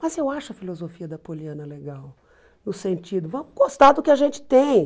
Mas eu acho a filosofia da Poliana legal, no sentido, vamos gostar do que a gente tem.